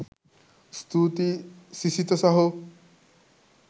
ස්තුතියි සිසිත සහෝ